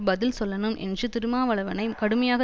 பதில் சொல்லணும் என்று திருமாவளனை கடுமையாக